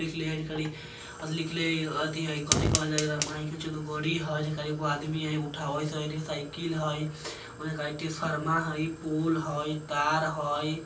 आदमी हई उठावत हई साईकिल हई शर्मा हई पोल हई तार हई।